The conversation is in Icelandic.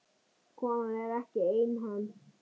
Konan er ekki einhöm.